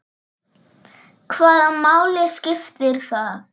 Hvaða máli skiptir það?